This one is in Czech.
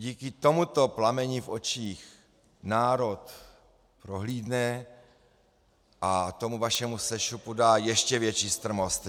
Díky tomuto plameni v očích národ prohlídne a tomu vašemu sešupu dá ještě větší strmost.